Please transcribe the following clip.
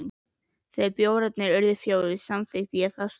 Þegar bjórarnir urðu fjórir, samþykkti ég það strax.